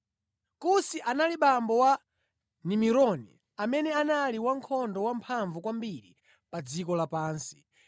Kusi anali abambo a Nimurodi amene anali wankhondo wamphamvu kwambiri pa dziko lapansi.